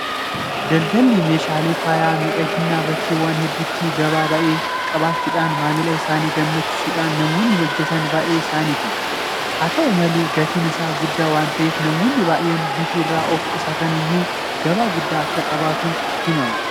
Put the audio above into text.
Daldalli meeshaalee faaya miidhaginaa bakkeewwan hedduutti gabaa baay'ee qabaachuudhaan maamila isaanii gammachiisuudhaaf namoonni hojjetan baay'ee isaaniiti. Haa ta'u malee gatiin isaanii guddaa waanta ta'eef namoonni baay'een bituu irraa of qusataniyyuu gabaa guddaa akka qabutu himama.